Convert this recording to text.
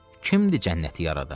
Kimdir cənnəti yaradan?